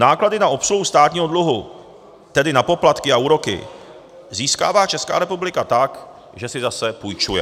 Náklady na obsluhu státního dluhu, tedy na poplatky a úroky, získává Česká republika tak, že si zase půjčuje.